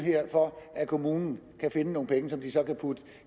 for at kommunen kan finde nogle penge som de så kan putte